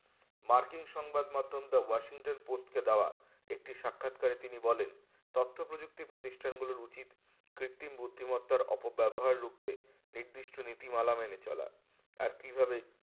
মার্কিন সংবাদ মাধ্যম বা washington post কে দেয় একটি সাক্ষাৎ করে তিনি বলেন তথ্য প্রযুক্তির প্রতিষ্ঠান গুলোর উচিত কৃত্রিম বুদ্ধিমত্তার অপব্যবহার রুখতে নির্দিষ্ট নীতিমালা মেনে চলা আর কিভাবে